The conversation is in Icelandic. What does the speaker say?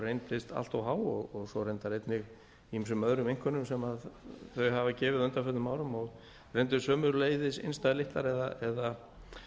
reyndist allt of há og svo reyndar einnig ýmsum öðrum einkunnum sem þau hafa gefið á undanförnum árum og reyndust sömuleiðis innstæðulitlar eða